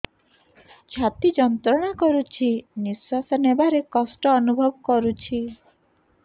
ଛାତି ଯନ୍ତ୍ରଣା କରୁଛି ନିଶ୍ୱାସ ନେବାରେ କଷ୍ଟ ଅନୁଭବ କରୁଛି